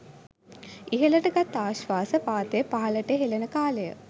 ඉහළට ගත් ආශ්වාස වාතය පහළට හෙලන කාලය